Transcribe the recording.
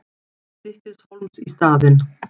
Stykkishólms í staðinn.